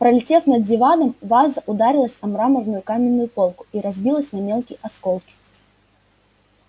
пролетев над диваном ваза ударилась о мраморную каминную полку и разбилась на мелкие осколки